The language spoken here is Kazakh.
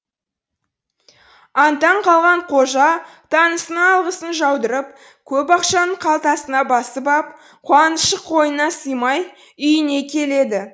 аң таң қалған қожа танысына алғысын жаудырып көп ақшаны қалтасына басып ап қуанышы қойнына сыймай үйіне келеді